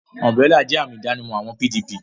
Umburélà jẹ́ àmì ìdánimọ̀ àwọn PDP